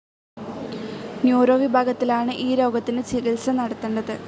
Neuro വിഭാഗത്തിലാണ് ഈ രോഗത്തിന് ചികിത്സ നടത്തണ്ടത്.